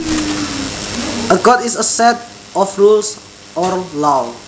A code is a set of rules or laws